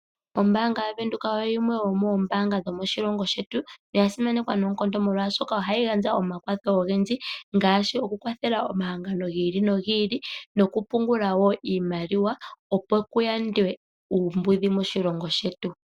Ombaanga yaVenduka oyo yimwe yomoombaanga dhomoshilongo shetu. Oya simanekwa noonkondo molwashoka ohayi gandja omakwatho ogendji ngaashi okukwathela omahangano gi ili no gi ili nokupungula woo iimaliwa opo ku yandwe uumbudhi moshilongo shetu.